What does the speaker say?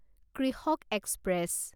কৃষক এক্সপ্ৰেছ